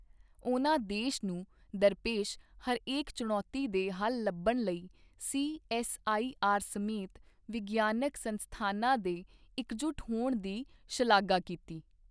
ਉਨ੍ਹਾਂ ਦੇਸ਼ ਨੂੰ ਦਰਪੇਸ਼ ਹਰੇਕ ਚੁਣੌਤੀ ਦੇ ਹੱਲ ਲੱਭਣ ਲਈ ਸੀਐੱਸਆਈਆਰ ਸਮੇਤ ਵਿਗਿਆਨਕ ਸੰਸਥਾਨਾਂ ਦੇ ਇੱਕਜੁਟ ਹੋਣ ਦੀ ਸ਼ਲਾਘਾ ਕੀਤੀ।